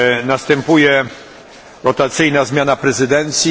Następuje rotacyjna zmiana prezydencji.